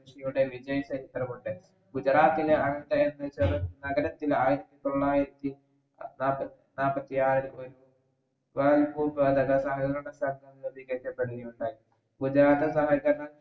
യുടെ വിജയ ചരിത്രമുണ്ട് ഗുജറാത്തിനെ നഗരത്തിലെ ആയിരത്തി തൊള്ളായിരത്തി നാപ്പത്തിആറ് ഒരു ഉണ്ടായി ഗുജ്റാത് സഹകര ഉണ്ടായി